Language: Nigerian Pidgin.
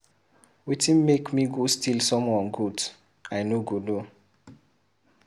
Wetin make me go steal someone goat I no go no.